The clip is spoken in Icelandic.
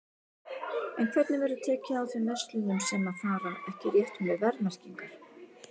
En hvernig verður tekið á þeim verslunum sem að fara ekki rétt með verðmerkingar?